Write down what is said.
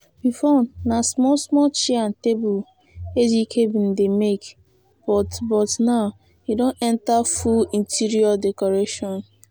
before na small small chair and table ejike bin dey make but but now e don enter full interior decoration